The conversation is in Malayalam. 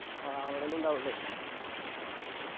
ആ അവിടെന്നെ ഉണ്ടാവുളെ